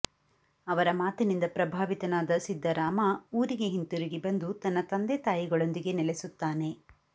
ಅವರ ಮಾತಿನಿಂದ ಪ್ರಭಾವಿತನಾದ ಸಿದ್ಧರಾಮ ಊರಿಗೆ ಹಿಂತಿರುಗಿ ಬಂದು ತನ್ನ ತಂದೆ ತಾಯಿಗಳೊಂದಿಗೆ ನೆಲೆಸುತ್ತಾನೆ